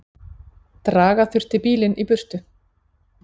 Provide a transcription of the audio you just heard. Draga þurfti bílinn í burtu.